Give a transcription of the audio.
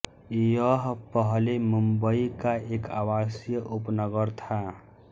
यह पहले मुंबई का एक आवासीय उपनगर था